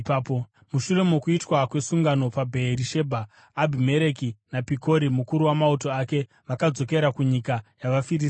Mushure mokuitwa kwesungano paBheerishebha, Abhimereki naPikori mukuru wamauto ake vakadzokera kunyika yavaFiristia.